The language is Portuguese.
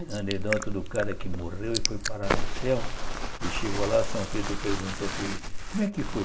A anedota do cara que morreu e foi parar no céu e chegou lá, São Pedro perguntou para ele, como é que foi?